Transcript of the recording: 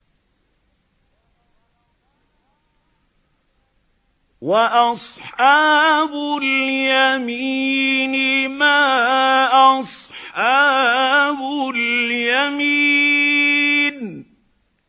وَأَصْحَابُ الْيَمِينِ مَا أَصْحَابُ الْيَمِينِ